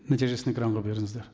нәтижесін экранға беріңіздер